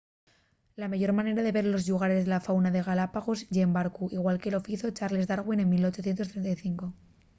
la meyor manera de ver los llugares y la fauna de les galápagos ye en barcu igual que lo fizo charles darwin en 1835